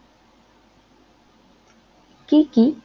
কি কি